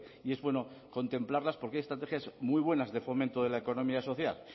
y es bueno contemplarlas porque hay estrategias muy buenas de fomento de la economía social